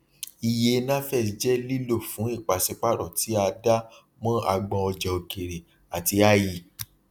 iye nafex jẹ lílò fún ipàsípaàrò tí a dá mọ agbọn ọjà okèrè àti ie